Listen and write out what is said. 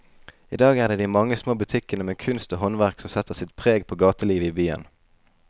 I dag er det de mange små butikkene med kunst og håndverk som setter sitt preg på gatelivet i byen.